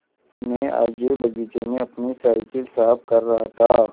मैं आगे बगीचे में अपनी साईकिल साफ़ कर रहा था